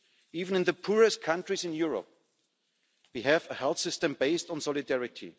Even in the poorest countries in Europe we have a health system based on solidarity